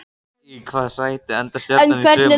Í hvaða sæti endar Stjarnan í sumar?